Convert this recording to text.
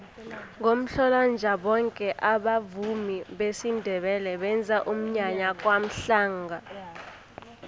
ngomhlolanja boke abavumi besindebele benza umnyanya kwamhlanga